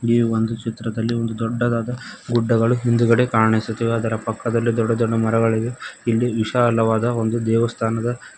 ಈ ಒಂದು ಚಿತ್ರದಲ್ಲಿ ಒಂದು ದೊಡ್ಡದಾದ ಗುಡ್ಡಗಳು ಹಿಂದ್ಗಡೆ ಕಾಣಿಸುತ್ತಿವೆ ಅದರ ಪಕ್ಕದಲ್ಲಿ ದೊಡ್ಡ ದೊಡ್ಡ ಮರಗಳಿವೆ ಇಲ್ಲಿ ವಿಶಾಲವಾದ ಒಂದು ದೇವಸ್ಥಾನದ--